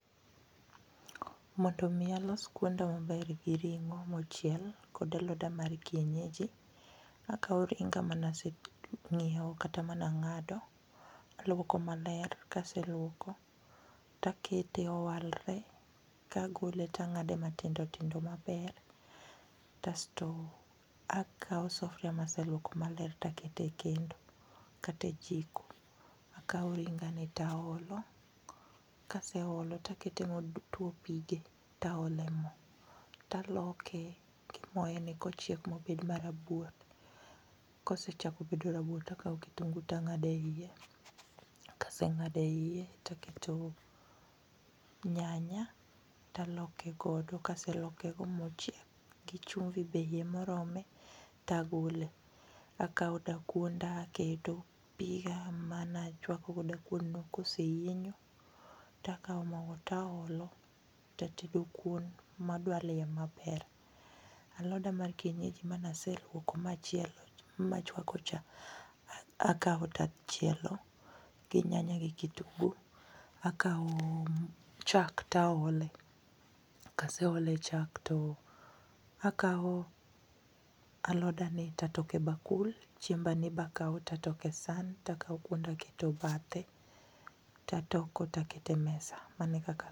Mondo mi alos kuonda maber gi ring'o mochiel gi aloda mar kienyeji, akawo ringa mane ase nyiewo kata mane ang'ado, aluoko maler ka aseluoko to akete owalre kagole to ang'ade matindo tindo maber. Kasto akawo sufuria mane aseluoko maler to aketo e kendo kata e jiko , akawo ringani to aolo kaseole to akete motuo pige , to aole mo to aloke gi moreni mobed marabuor, kosechako bedo rabuor to akawo kitungu to ang'ado eiye. Ka ase ng'ado eiye to akete nyanya to alokegodo kaseloke godo mochiek gi chumbi be morome to agole akawo dakuonda aketo, piga mane achuako godo dakuon no koseyienyo to akawo mogo to aolo. To atedo kuon ma adwal iye maber. Aloda mar kienyeji mane ase luoko machielo machuako cha, akawo to achielo gi nyanya gi kitungu. Akawo chak to aole, kaseole chak to akawo alodani to atoko e bakul, chiembani be akawo to atoko e san to akawo kuon to aketo ebathe to atoko to aketo emesa. Mano e kaka